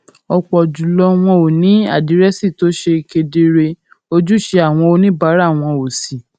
òpò jù lọ wọn ò ní àdírésì tó ṣe kedere ojúṣe àwọn oníbàárà wọn ò sì